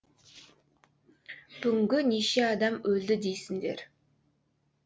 бүгінгі неше адам өлді дейсіңдер